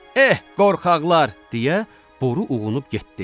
Eh, qorxaqlar, deyə boru uğunub getdi.